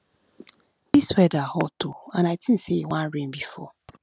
dis weather hot oo and i think say e wan rain before